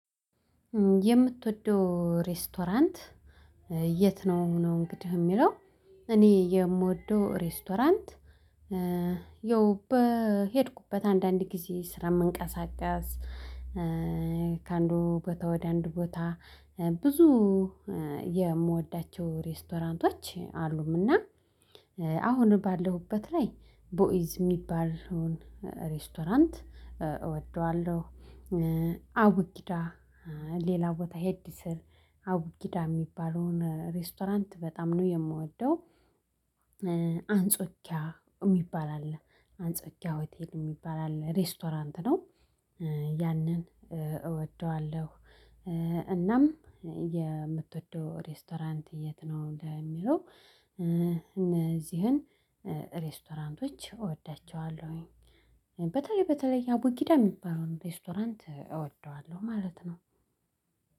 የምትወደው ሬስቶራንት የት ነው? ነው እንግዲህ የሚለው እኔ የምወደው ሬስቶራንት ይኸው በሄድኩበት አንዳንድ ጊዜ ስራ መንቀሳቀስ ከአንዱ ቦታ ወደ አንዱ ቦታ ብዙ የምወዳቸው ሬስቶራንቶች አሉምና አሁን ባለሁበት ላይ ቦኢዝ የሚባለውን ሬስቶራንት እወደዋለሁ አቡጊዳ ሌላ ቦታ ሄድ ስል አቡጊዳ የሚባለውን ሬስቶራንት በጣም ነው የምወደው። አንጾኪያ የሚባል አለ አንጾኪያ ሆቴል የሚባል አለ ሬስቶራንት ነው። ያንን እወደዋለሁ። እናም የምትወደው ሬስቶራንት የት ነው? እንደሚለው እነዚህን ሬስቶራንቶች እወዳቸዋለሁኝ በተለይ በተለይ ያቡጊዳ የሚባለውን ሬስቶራንት እወደዋለሁ ማለት ነው።